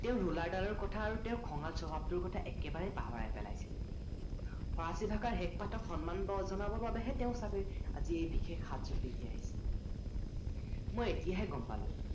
তেওঁৰ ৰোলাৰ ডালৰ কথা আৰু খঙাল স্ৱভাৱ টোৰ কথা একেবাৰে পাহৰাই পেলাইছি ফৰাচী ভাষাৰ শেষ পাঠক সন্মান জনাাবৰ বাবেহে তেওঁ চাগে আজি এই বিশেষ সাজজোৰ পিন্ধি আহিছিল মই এতিয়াহে গম পালো